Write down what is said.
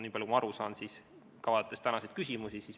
Vaatan tänaseid küsimusi.